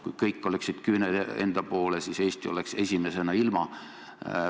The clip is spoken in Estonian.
Kui kõik oleksid küüned enda poole, siis Eesti oleks esimesena ilma.